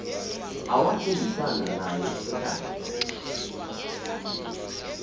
awathembisana naye ekhaya